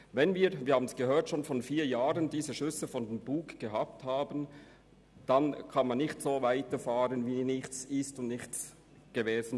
Wenn – wie wir gehört haben – schon vor vier Jahren Schüsse vor den Bug abgefeuert wurden, bedeutet dies, dass man nicht so weiterfahren kann, als ob nichts wäre.